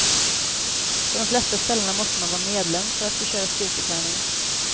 På de flesta ställena måste man vara medlem för att få köra styrketräning.